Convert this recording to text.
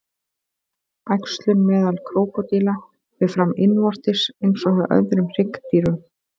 Æxlun meðal krókódíla fer fram innvortis eins og hjá öðrum hryggdýrum.